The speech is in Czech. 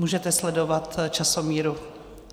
Můžete sledovat časomíru.